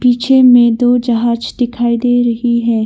पीछे में दो जहाज दिखाई दे रही है।